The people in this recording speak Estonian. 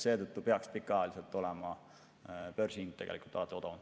Seetõttu peaks börsihind olema pikaajaliselt alati odavam.